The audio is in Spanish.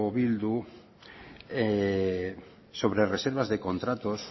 bildu sobre reservas de contratos